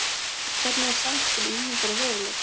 En hvernig er samspil ímyndar og veruleika?